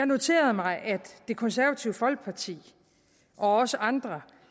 noteret mig at det konservative folkeparti og også andre